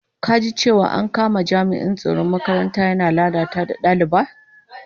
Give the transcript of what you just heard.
Ka ji cewa an kama jami'in tsaron makaranta yana lalata da daliba?